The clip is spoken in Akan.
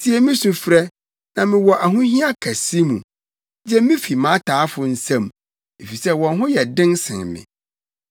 Tie me sufrɛ, na mewɔ ahohia kɛse mu; gye me fi mʼataafo nsam, efisɛ wɔn ho yɛ den sen me.